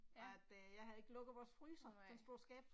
Ja, nej